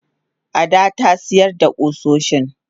Ada tasiyar da kusoshin.